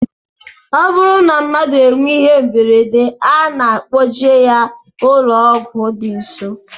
Ọ bụrụ na mmadụ nwee ihe mberede a na-akpọje ya n'ụlọọgwụ dị nsọ